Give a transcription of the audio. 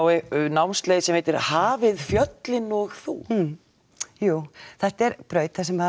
námsleið sem heitir hafið fjöllin og þú jú þetta er braut þar sem